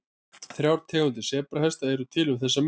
Þrjár tegundir sebrahesta eru til um þessar mundir.